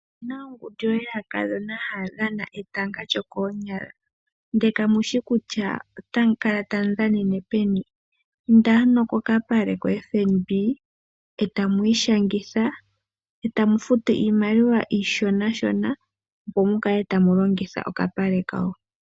Opuna ongundu yaakadhona haya dhana etanga lyo koonyala . Ngele kamushi kutya otamu kala tamu dhanene peni indeni ano kokapale ko FNB etamu ishangitha eta mu futu iimaliwa iishonanashona. Opo mukale tamu longitha oka pale kayo.